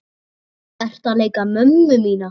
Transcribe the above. Ertu að leika mömmu mína?